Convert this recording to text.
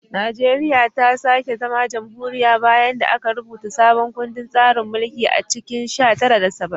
Najeriya ta sake zama jamhuriya bayan da aka rubuta sabon kundin tsarin mulki a cikin sha tara saba'in da tara